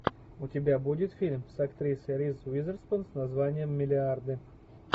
у тебя будет фильм с актрисой риз уизерспун с названием миллиарды